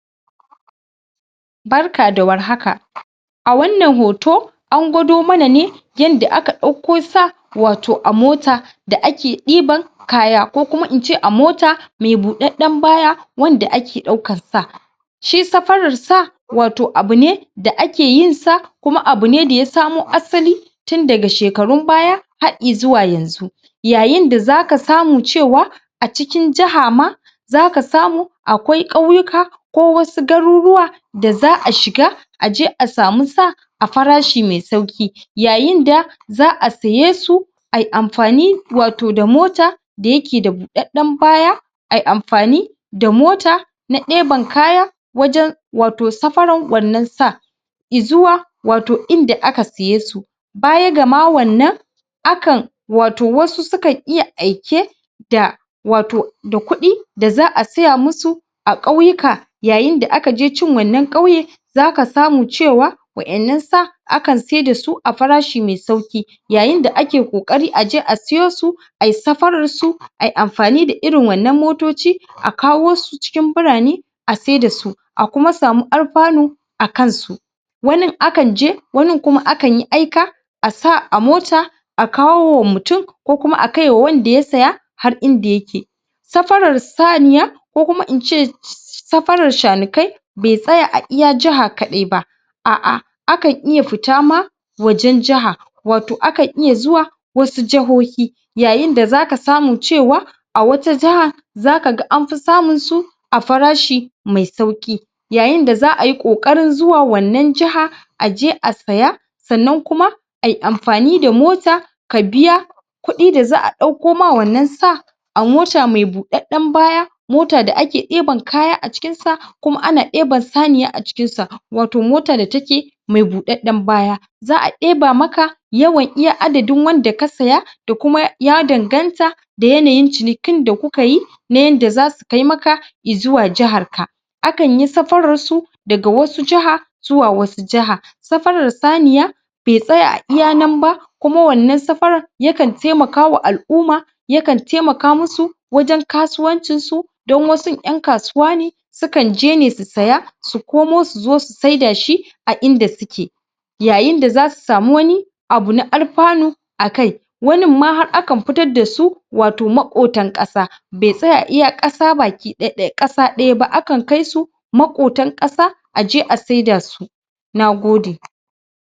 Barka da warhaka a wannan hoto an gwado mana ne yadda aka ɗauko sa wato a mota da ake ɗiban kaya ko kuma in ce a mota me buɗaɗɗen baya wanda ake ɗaukar sa shi safarar sa wato abu ne da ake yin sa kuma abu ne da ya samo asali tun daga shekarun baya har i zuwa yanzu yayin da zaka samu cewa a cikin jiha ma zaka samu akwai ƙauyuka ko wasu garuruwa da za a shiga a je a samu sa a farashi mai sauƙi yayin da za a saye su ai amfani wato da mota da yake da buɗaɗɗen baya a yi amfani da mota na ɗeban kaya wajen wato sarafan wannan sa i zuwa wato inda aka saye su baya gama wannan akan wato wasu sukan iya aike da wato da kuɗi da za a saya musu a ƙauyuka yayin da aka cin wannan ƙauye zaka samu cewa wa’innan sa akan siyar da su a farashi mai sauƙi yayin da ake ƙoƙarin a je a siyo su a yi safarar su a yi amfani da irin wannan motoci a kawo su cikin birane a siyar da su A kuma samu alfanu a kansu wanin akan je wanin kuma akan yi aika a sa a mota a kawo wa mutum ko kuma a kaiwa wanda ya saya har inda yake Safarar saniya ko kuma in ce safarar shanukai bai tsaya a iya jiha kaɗai ba a’a, akan iya fita ma wajen jiha wato akan iya zuwa wasu jahohi yayin da zaka samu cewa a wata jaha zaka ga anfi samun su a farashi mai sauƙi yayinda za a yi ƙoƙarin zuwa wannan jaha a je a saya sannan kuma a yi amfani da mota ka biya kuɗi da za a ɗauko ma wannan sa a mota mai buɗaɗɗen baya mota da ake ɗiban kaya a cikinsa kuma ana ɗeban saniya a cikinsa wato mota da take mai buɗaɗɗen baya za a ɗeba maka yawan iya adadin wanda ka saya da kuma ya danganta da yanayin cinikin da ku ka yi na yadda zasu kai maka i zuwa jaharka akan yi safararsu daga wasu jaha zuwa wasu jaha safarar saniya bai tsaya a iya nan ba kuma wannan safarar yakan taimakawa al’umma yakan taimaka musu wajen kasuwancinsu don wasun ƴan kasuwa ne, sukan je ne su saya su komo su je su saida shi a inda suke yayin da zasu samu wani abu na alfanu a kai wanin ma har akan fitar da su wato maƙotan ƙasa bai tsaya a iya ƙasa (baki ɗaya)? baki ɗaya) ƙasa ɗaya ba, akan kai su maƙotan ƙasa a je a saida su Nagode